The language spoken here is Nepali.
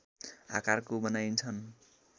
आकारको बनाइन्छन्